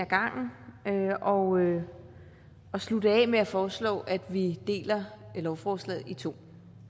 gangen og slutte af med at foreslå at vi deler lovforslaget i to